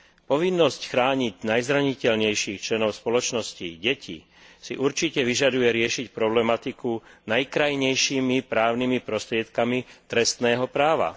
Povinnosť chrániť najzraniteľnejších členov spoločnosti, deti, si určite vyžaduje riešiť problematiku najkrajnejšími právnymi prostriedkami trestného práva.